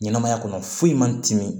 Ɲɛnɛmaya kɔnɔ foyi man timi